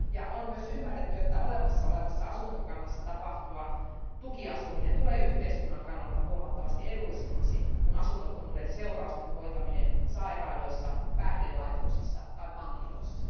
On myös ymmärretty, että olemassa olevassa asuntokannassa tapahtuva tukiasuminen tulee yhteiskunnan kannalta huomattavasti edullisemmaksi kuin asunnottomuuden seurausten hoitaminen sairaaloissa, päihdelaitoksissa tai vankiloissa.